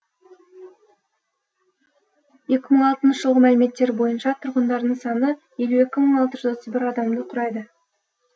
екі мың алтыншы жылғы мәліметтер бойынша тұрғындарының саны елу екі мың алты жүз отыз бір адамды құрайды